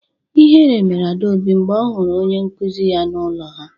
Ihere mere Adaobi mgbe ọ hụrụ onye nkuzi ya n’ụlọ ha.